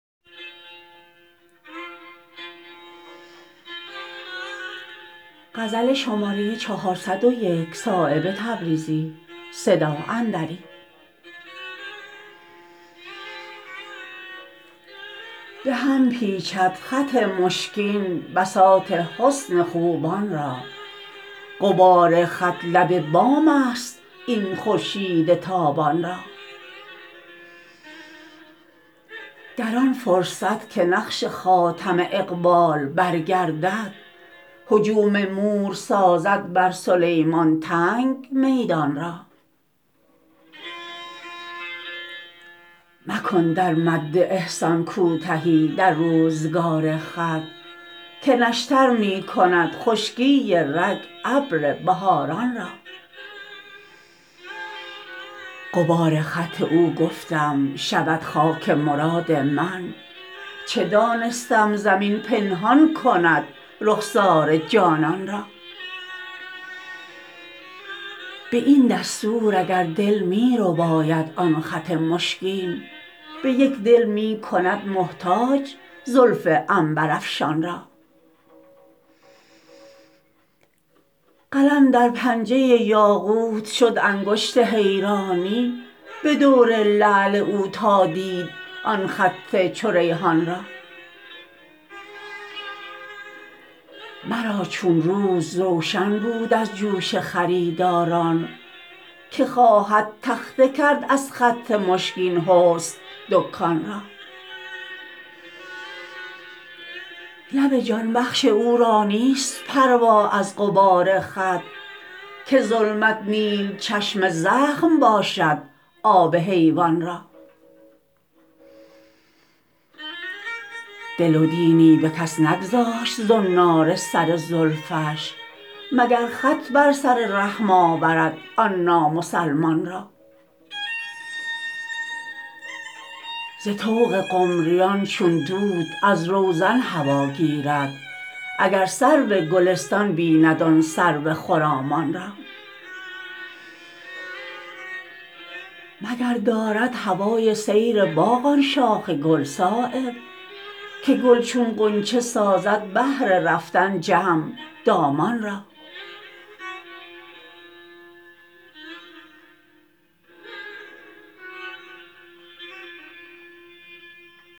به هم پیچد خط مشکین بساط حسن خوبان را غبار خط لب بام است این خورشید تابان را در آن فرصت که نقش خاتم اقبال برگردد هجوم مور سازد بر سلیمان تنگ میدان را مکن در مد احسان کوتهی در روزگار خط که نشتر می کند خشکی رگ ابر بهاران را غبار خط او گفتم شود خاک مراد من چه دانستم زمین پنهان کند رخسار جانان را به این دستور اگر دل می رباید آن خط مشکین به یک دل می کند محتاج زلف عنبرافشان را قلم در پنجه یاقوت شد انگشت حیرانی به دور لعل او تا دید آن خط چو ریحان را مرا چون روز روشن بود از جوش خریداران که خواهد تخته کرد از خط مشکین حسن دکان را لب جان بخش او را نیست پروا از غبار خط که ظلمت نیل چشم زخم باشد آب حیوان را دل و دینی به کس نگذاشت زنار سر زلفش مگر خط بر سر رحم آورد آن نامسلمان را ز طوق قمریان چون دود از روزن هوا گیرد اگر سرو گلستان بیند آن سرو خرامان را مگر دارد هوای سیر باغ آن شاخ گل صایب که گل چون غنچه سازد بهر رفتن جمع دامان را